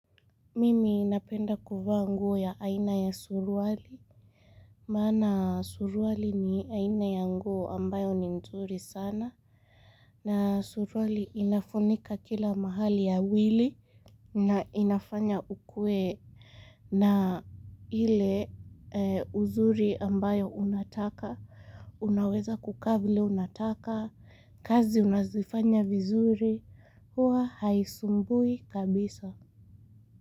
Mimi napenda kuvaa nguo ya aina ya surwali. Mana surwali ni aina ya nguo ambayo ni nzuri sana. Na surwali inafunika kila mahali ya wili. Na inafanya ukue na ile uzuri ambayo unataka. Unaweza kukavili unataka. Kazi unazifanya vizuri. Huwa haisumbui kabisa.